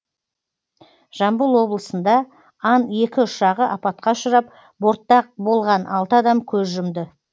жамбыл облысында ан екі ұшағы апатқа ұшырап бортта болған алты адам көз жұмды